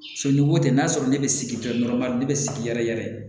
So ni ko tɛ n'a sɔrɔ ne bɛ sigi tɔɔrɔ ma ne bɛ sigi yɛrɛ yɛrɛ